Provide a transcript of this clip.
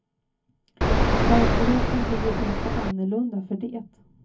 Verkligheten blir ju inte annorlunda för det.